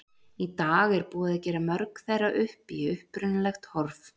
Í dag er búið að gera mörg þeirra upp í upprunalegt horf.